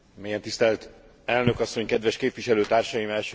Mélyen tisztelt elnök asszony, kedves képviselőtársaim!